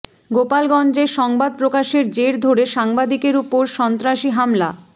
গোলাপগঞ্জে সংবাদ প্রকাশের জের ধরে সাংবাদিকের উপর সন্ত্রাসী হামলা